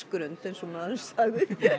grund eins og maðurinn sagði